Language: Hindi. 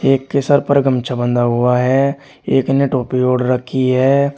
एक के सर पर गमछा बंधा हुआ है एक ने टोपी ओढ़ रखी है।